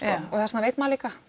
þess vegna veit maður líka